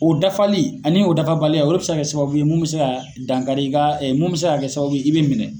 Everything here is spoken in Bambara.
O dafali ani o dafabaliya o de bɛ se ka kɛ sababu ye mun bɛ se ka dankari i ka mun bɛ se ka kɛ sababu ye i bɛ minɛ.